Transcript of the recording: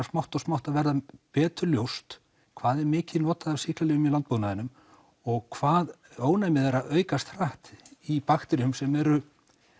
smátt og smátt að verða betur ljóst hvað er mikið notað af sýklalyfjum í landbúnaðinum og hvað ónæmið er að aukast hratt í bakteríum sem eru